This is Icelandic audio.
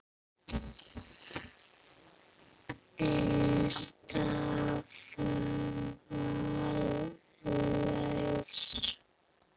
Ein staða var laus.